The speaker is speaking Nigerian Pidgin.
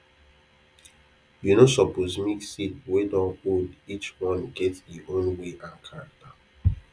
you no suppose mix seed wey dun old each one get e own way and character